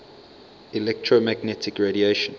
electromagnetic radiation